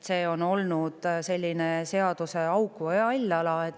See on olnud selline seaduseauk või hall ala.